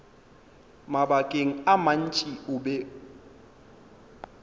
mabakeng a mantši o be